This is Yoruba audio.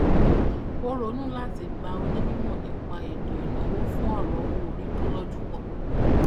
ó ronú láti gba onímọ nípa ètò ìnáwó fún ọrọ owóorí tó lójú pọ